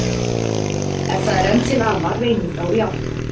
Ef það er enn til ama, reynið þá í átta.